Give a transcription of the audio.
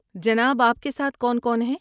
جناب آپ کے ساتھ کون کون ہے؟